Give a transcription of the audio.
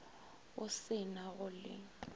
go se na go le